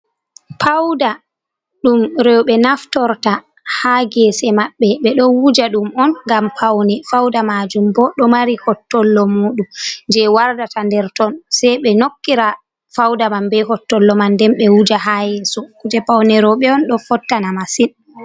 Pauda ɗum roɓe on naftorta ha gese maɓɓe, ɓe ɗo wuja ɗum on ngam faune. Fauda majum bo ɗo mari hottollo muɗum je wardata nder ton, sei ɓe nokkira fauda mam ɓe hottollo man nden ɓe wuja ha yeso. Kuje pawne roɓe on do fottana masin.